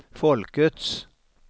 folkets